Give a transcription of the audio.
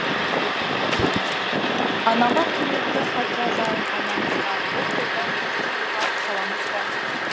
анама құрметті хат жазайын анамызға бұл тойдан жұрт жиылған қаламыз ба